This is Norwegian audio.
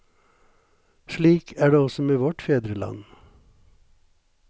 Slik er det også med vårt fedreland.